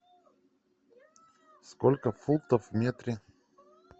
сколько футов в метре